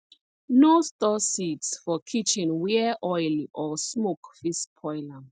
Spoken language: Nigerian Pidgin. no store seeds for kitchen where oil or smoke fit spoil am